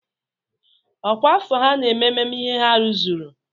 Ọkwà afọ ha na-eme mmemme ihe ha rụzuru?